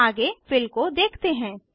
आगे फिल को देखते हैं